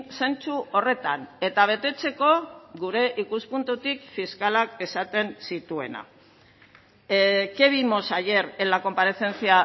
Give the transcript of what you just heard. zentzu horretan eta betetzeko gure ikuspuntutik fiskalak esaten zituena qué vimos ayer en la comparecencia